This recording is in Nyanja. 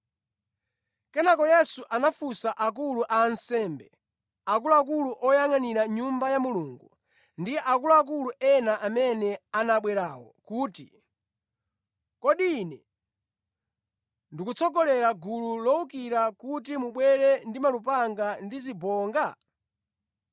Kenaka Yesu anafunsa akulu a ansembe, akuluakulu oyangʼanira Nyumba ya Mulungu ndi akuluakulu ena amene anabwerawo kuti, “Kodi Ine ndikutsogolera gulu lowukira kuti mubwere ndi malupanga ndi zibonga?